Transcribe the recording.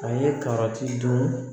A ye karɔti dun